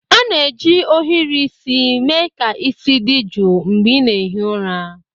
A na-eji ohiri isi mee ka isi dị jụụ mgbe ị na-ehi ụra.